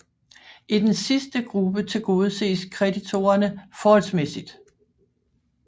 I den sidste gruppe tilgodeses kreditorerne forholdsmæssigt